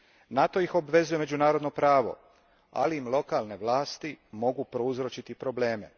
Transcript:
Na to ih obvezuje međunarodno pravo, ali im lokalne vlasti mogu prouzročiti probleme.